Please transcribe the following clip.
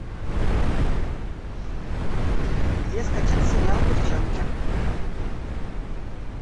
где скачать сериал девчонки